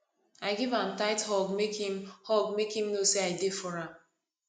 i give am tight hug make im hug make im know say i dey for am